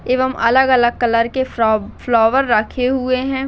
-- एवं अलग अलग कलर के फ्लो-फ्लोवर रखे हुए है।